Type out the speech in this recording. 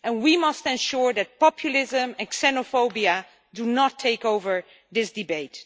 We must ensure that populism and xenophobia do not take over this debate.